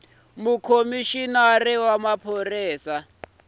ya khomixini ya ntirho wa